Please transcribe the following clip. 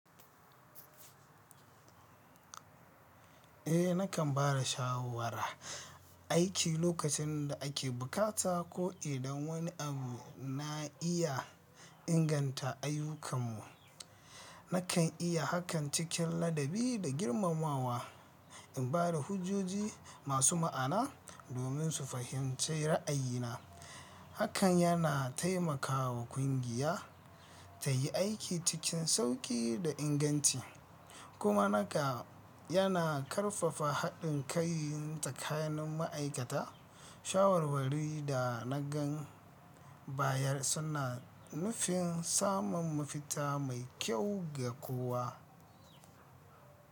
Eh, nakan ba da shawarar aiki lokacin da ake bukata ko idan wani abu na iya inganta ayyukanmu. Nakan yi hakan cikin ladabi da girmamawa, in ba da hujoji masu ma'ana domin su fahimci ra'ayina. Hakan yana taimaka wa kungiya ta yi aiki cikin sauƙi da inganci, kuma naka yana ƙarfafa haɗin kai tsakanin ma'aikata. Shawarwari da na gan bayar suna nufin samun mafita mai kyau ga kowa.